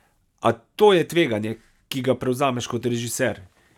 A to je tveganje, ki ga prevzameš kot režiser.